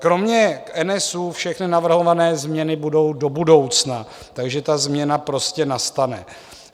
Kromě NSÚ všechny navrhované změny budou do budoucna, takže ta změna prostě nastane.